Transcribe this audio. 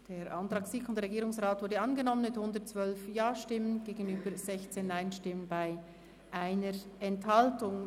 Der Antrag SiK und Regierungsrat ist angenommen worden mit 112 Ja- gegenüber 16 Nein-Stimmen bei 1 Enthaltung.